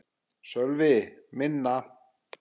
Sölvi: Minna?